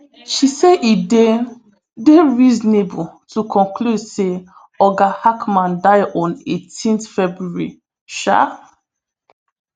she say e dey dey reasonable to conclude say oga hackman die on eighteen february um